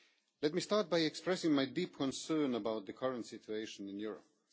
Let me start by expressing my deep concern about the current situation in Europe.